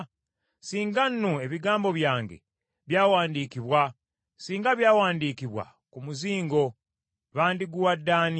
“Singa nno ebigambo byange byawandiikibwa, Singa byawandiikibwa ku muzingo, bandiguwadde ani?